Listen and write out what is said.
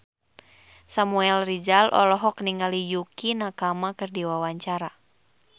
Samuel Rizal olohok ningali Yukie Nakama keur diwawancara